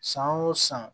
San o san